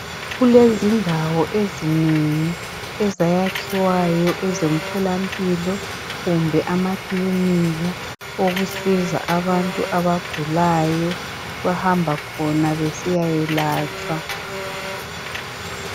kulezindawo ezinengi ezayakhiwayo ezomtholampilo kumbe amakilinika okusiza abantu abagulayo bahamba khona besiyayelatshwa